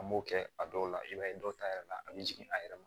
An m'o kɛ a dɔw la i b'a ye dɔw ta yɛrɛ la a bɛ jigin a yɛrɛ ma